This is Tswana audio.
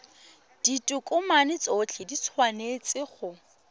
ditokomane tsotlhe di tshwanetse go